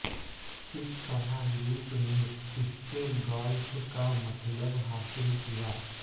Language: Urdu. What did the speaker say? کس طرح لوپ نے اس کے گالف کا مطلب حاصل کیا